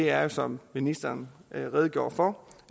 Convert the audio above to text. er jo som ministeren redegjorde for